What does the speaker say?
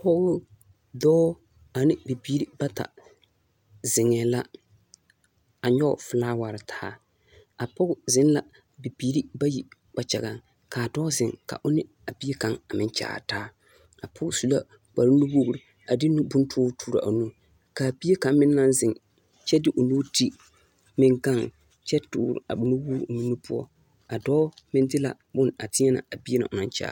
Dɔɔ ane bibiiri bata zeŋɛɛ la a nyɛge felaaware taa. apɔge zeŋ la bibiiri bayi kpakyagaŋ. Ka a dɔɔ zeŋ o ne a bie kaŋa a meŋ kyaare taa. A pɔge su la kpare nuwogiri a de nu bontoore toore a o nuuri. Ka bie kaŋa meŋ naŋ zeŋ kyɛ de o nuuri ti meŋ gaŋ kyɛ tore a boma wogiri o meŋ nu poɔ a dɔɔ de la boma teɛnɛ a bie na o naŋ kyaare.